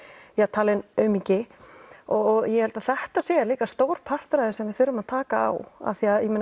talinn aumingi og ég held að þetta sé stór partur af því sem við þurfum að taka á af því